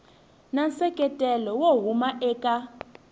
na nseketelo wo huma eka